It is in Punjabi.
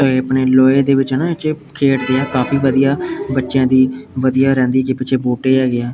ਜੇਹੇ ਆਪਣੇ ਲੋਹੇ ਦੇ ਵਿੱਚ ਹੈ ਨਾ ਖੇਡਦੇ ਆ ਕਾਫੀ ਵਧੀਆ ਬੱਚਿਆਂ ਦੀ ਵਧੀਆ ਰਹਿੰਦੀ ਜੇ ਪਿੱਛੇ ਬੂਟੇ ਹੈਗੇ ਆ।